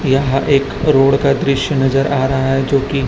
यह एक रोड का दृश्य नजर आ रहा है जो कि--